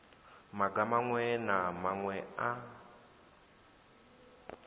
maga maṅwe na maṅwe a